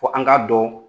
Fo an k'a dɔn